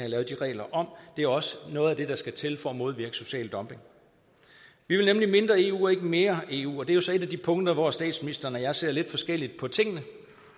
lavet de regler om det er også noget af det der skal til for at modvirke social dumping vi vil nemlig mindre eu og ikke mere eu og det er jo så et af de punkter hvor statsministeren og jeg ser lidt forskelligt på tingene